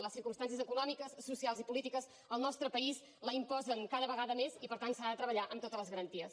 les circumstàncies econòmiques socials i polítiques en el nostre país la imposen cada vegada més i per tant s’ha de treballar amb totes les garanties